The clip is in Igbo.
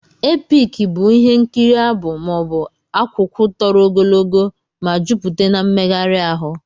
Epiki bụ ihe nkiri abụ, maọbu akwụkwụ tọrọ ogologo ma jụpute n'mmeghari ahụ.